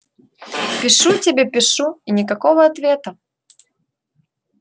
пишу тебе пишу и никакого ответа